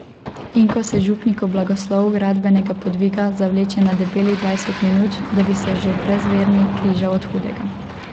Če pa se kdo na cesti neprimerno obnaša, pa priporočam tudi opozorilo.